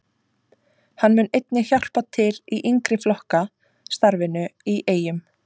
Hann mun einnig hjálpa til í yngri flokka starfinu í Eyjum.